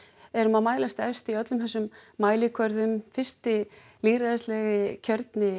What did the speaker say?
erum að mælast efst í öllum þessum mælikvörðum fyrsti lýðræðislegi kjörni